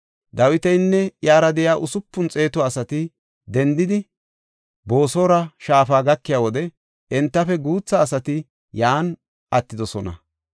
Dawitinne iyara de7iya usupun xeetu asati dendidi Boosora shaafa gakiya wode entafe guutha asati yan attidosona.